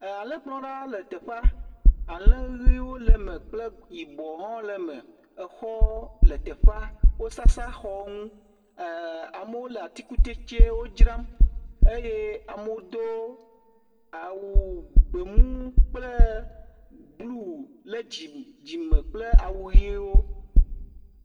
Alẽkplɔla le teƒea, alẽ ʋiwo le me kple yibɔwo hã le me, exɔwo le teƒea, wosasra xɔwo ŋu, amewo le atikutsetsewo dzram eye amewo do awu gbemu kple blu le dzime kple awu ʋewo.